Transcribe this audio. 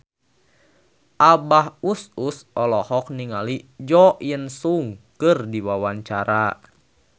Abah Us Us olohok ningali Jo In Sung keur diwawancara